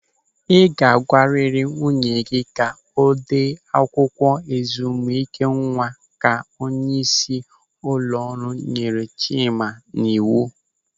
"Ị ga-agwarịrị nwunye gị ka o dee akwụkwọ ezumike nwa" ka onyeisi ụlọ ọrụ nyere Chima n'iwu